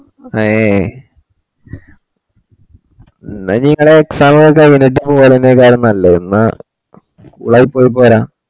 ആയെ ന്നാ നിങ്ങളെ exam കൈറ്റ് അതിലെന്നെ പോന്നെന്നെക്കാളും നല്ലത് ന്നാഇപ്പഴ് പോരാ